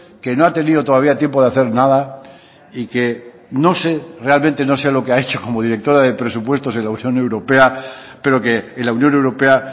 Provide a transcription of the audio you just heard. que no ha tenido todavía tiempo de hacer nada y que no sé realmente no sé lo que ha hecho como directora de presupuestos en la unión europea pero que en la unión europea